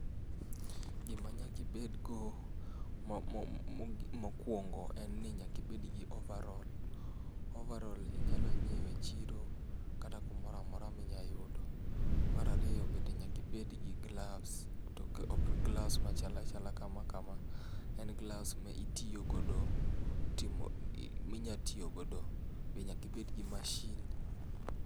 Gima nyaka ibedgo mokuongo en ni nyaka ibed gi overal, overal inyalo nyiew e chiro kata kumoro amora minyalo yudo. Mar ariyo bende nyaka ibed gi gloves to ok gloves machal achala kama kama ,en gloves minya tiyo go e timo, minya tiyo godo, be nyaka ibed gi mashin